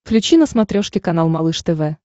включи на смотрешке канал малыш тв